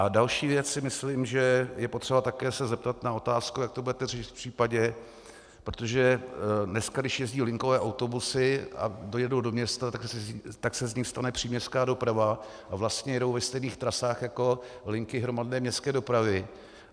A další věc si myslím, že je potřeba se také zeptat na otázku, jak to budete řešit v případě, protože dneska, když jezdí linkové autobusy a dojedou do města, tak se z nich stane příměstská doprava a vlastně jedou ve stejných trasách jako linky hromadné městské dopravy.